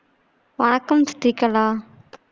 வணக்கம் ஸ்ரீகலா